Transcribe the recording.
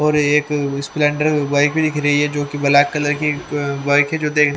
और एक Splendor bike दिख रही है जो की ब्लैक अं कलर की बाइक है जो दे --